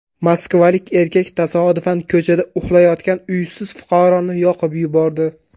Moskvalik erkak tasodifan ko‘chada uxlayotgan uysiz fuqaroni yoqib yubordi.